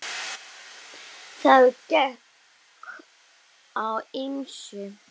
Það gekk á ýmsu.